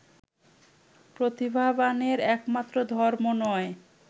প্রতিভাবানের একমাত্র ধর্ম নয়